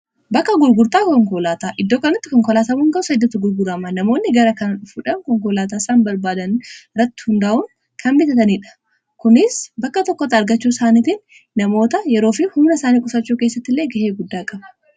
bakka gurgurtaa konkolaataa iddoo kaitti konkolaatamuun gasa dattu gurgurama namoonni gara kan fudhan konkolaataasaan barbaadan irratti hundaa'uun kan bitataniidha kunis bakka tokkota argachuu isaaniitiin namoota yeroofi humna isaanii qusachuu keessatti illee ga'ee guddaa qaba